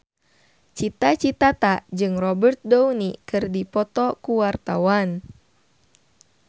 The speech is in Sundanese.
Cita Citata jeung Robert Downey keur dipoto ku wartawan